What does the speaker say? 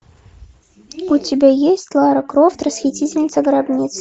у тебя есть лара крофт расхитительница гробниц